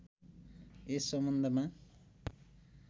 यस सम्बन्धमा